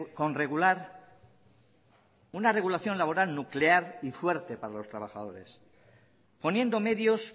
con regular una regulación laboral nuclear y fuerte para los trabajadores poniendo medios